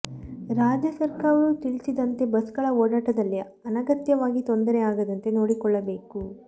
ರಾಜ್ಯ ಸರಕಾರವು ತಿಳಿಸಿದಂತೆ ಬಸ್ಗಳ ಓಡಾಟದಲ್ಲಿ ಅನಗತ್ಯವಾಗಿ ತೊಂದರೆ ಆಗದಂತೆ ನೋಡಿಕೊಳ್ಳಬೇಕು